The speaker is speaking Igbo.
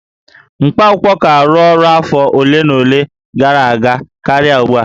Mkpaakwụkwọ ka arụ ọrụ afọ ole na ole gara aga karịa ugbua